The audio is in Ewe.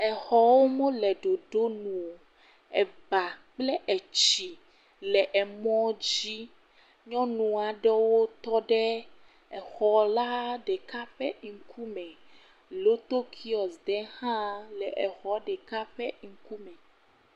Exɔwo mele ɖoɖo nu o. Eba kple etsi le emɔ dzi. Nyɔnu aɖewo tɔ ɖe exɔ la ɖeka ƒe ŋkume. Loto kiwɔsi hã le exɔ ɖeka ƒe ŋkume.